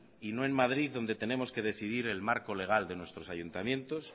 y no en madrid donde tenemos que decidir el marco legar de nuestros ayuntamientos